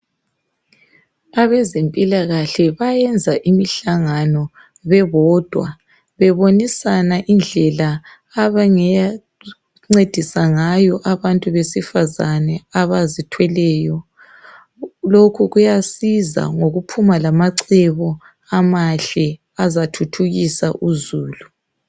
Abezempilakahle bayenza imihlangano bebodwa, bebonisana indlela abangencedisa ngayo abantu besifazana abazithweleyo. Lokhu kuyasiza ngokuphuma lamacebo amahle azathuthukisa uzulu.